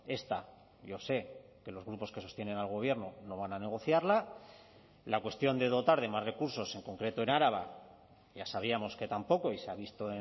esta yo sé que los grupos que sostienen al gobierno no van a negociarla la cuestión de dotar de más recursos en concreto en araba ya sabíamos que tampoco y se ha visto